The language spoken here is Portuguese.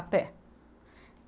A pé.